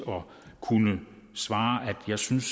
kunne svare at jeg synes